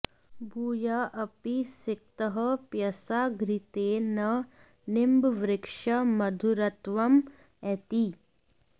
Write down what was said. भूयः अपि सिक्तः पयसा घृतेन न निम्बवृक्षः मधुरत्वं एति